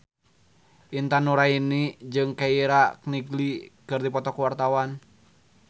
Intan Nuraini jeung Keira Knightley keur dipoto ku wartawan